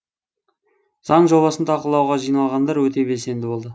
заң жобасын талқылауға жиналғандар өте белсенді болды